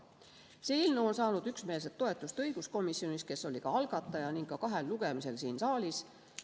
See eelnõu on saanud üksmeelse toetuse õiguskomisjonis, kes oli ka algataja, ning ka kahel lugemisel siin saalis.